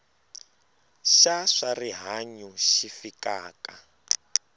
xa swa rihanyu xi fikaka